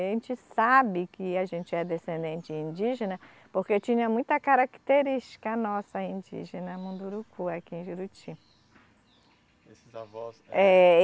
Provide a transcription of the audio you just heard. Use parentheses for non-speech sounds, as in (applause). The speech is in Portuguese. (unintelligible) sabe que a gente é descendente indígena porque tinha muita característica nossa indígena Munduruku aqui em Juruti. Esses avós. Ehh